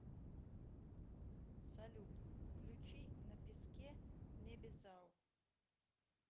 салют включи на песке небезао